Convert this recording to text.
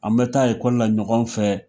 An bɛ taa ekɔli la ɲɔgɔn fɛ.